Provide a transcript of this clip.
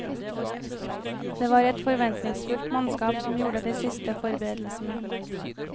Det var ett forventningsfullt mannskap som gjorde de siste forberedelsene.